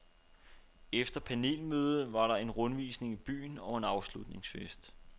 Efter panelmødet var der en rundvisning i byen og en afslutningsfest.